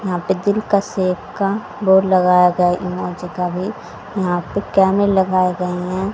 यहां पे दिल का शेप का बोर्ड लगाया गया है इमोजी का भी यहां पे लगाए गए हैं।